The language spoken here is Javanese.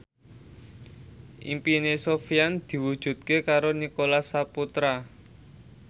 impine Sofyan diwujudke karo Nicholas Saputra